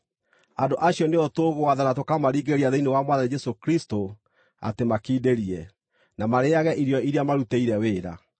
Andũ acio nĩo tũgwatha na tũkamaringĩrĩria thĩinĩ wa Mwathani Jesũ Kristũ atĩ makindĩrie, na marĩĩage irio iria marutĩire wĩra.